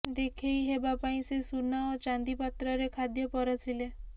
ଦେଖେଇ ହେବା ପାଇଁ ସେ ସୁନା ଓ ଚାନ୍ଦି ପାତ୍ରରେ ଖାଦ୍ୟ ପରଷିଲେ